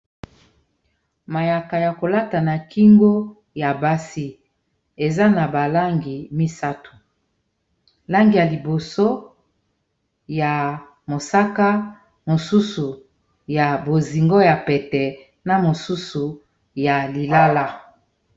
mayaka ya kolata na kingo ya basi eza na balangi misato langi ya liboso ya mosaka mosusu ya bozingo ya pete na mosusu ya lilala